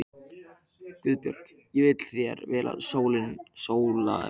GUÐBJÖRG: Ég vil þér vel, Sóla mín.